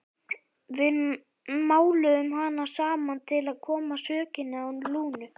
Við máluðum hana saman til að koma sökinni á Lúnu.